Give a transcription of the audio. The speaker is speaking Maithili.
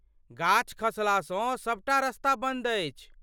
गाछ खसलासँ सबटा रस्ता बन्द अछि।